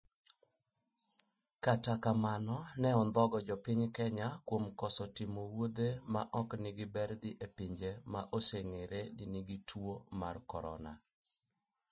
Kata kamano ne ondhogo jo piny kenya kuom koso timo wuothe ma ok nigi ber dhi e pinje ma oseng'ere ni gin gi tuo mar corona